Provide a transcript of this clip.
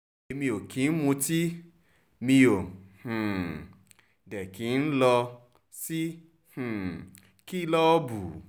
èmi ò kì í mutí mi ó um dé kí n n lọ sí um kìlọ̀ọ̀bù